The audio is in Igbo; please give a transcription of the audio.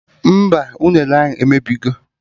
Mba, unere ahụ emebigo